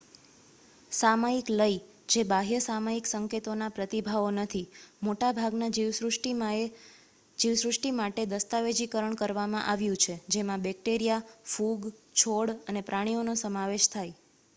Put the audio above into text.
સામયિક લય જે બાહ્ય સામયિક સંકેતોના પ્રતિભાવો નથી મોટા ભાગના જીવસૃષ્ટિમાટે દસ્તાવેજીકરણ કરવામાં આવ્યું છે જેમાં બેક્ટેરિયા ફૂગ છોડ અને પ્રાણીઓનો સમાવેશ થાય